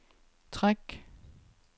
træk